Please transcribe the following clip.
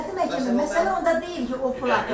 Möhtərəm məhkəmə, məsələ onda deyil ki, o pul atıb.